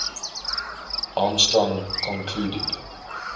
armstrong concluded